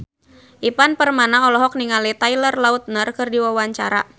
Ivan Permana olohok ningali Taylor Lautner keur diwawancara